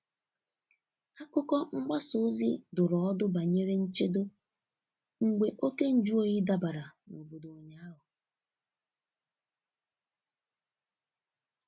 Akụkọ mgbasa ozi dụrụ ọdụ banyere nchedo mgbe oké nju oyi dabara n'obodo ụnyaahụ.